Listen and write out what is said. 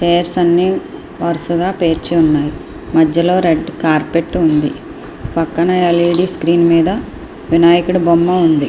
Chairs అన్ని వరుసగా పేర్చున్నాయి. మధ్యలో రెడ్ కార్పెట్ ఉంది. పక్కన ఎల్ఈడీ స్క్రీన్ మీద వినాయకుడి బొమ్మ ఉంది.